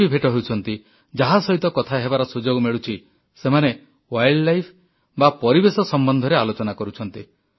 ଯିଏ ବି ଭେଟ ହେଉଛନ୍ତି ଯାହା ସହିତ କଥା ହେବାର ସୁଯୋଗ ମିଳୁଛି ସେମାନେ ୱାଇଲ୍ଡ ଲାଇଫ୍ ବା ପରିବେଶ ସମ୍ବନ୍ଧରେ ଆଲୋଚନା କରୁଛନ୍ତି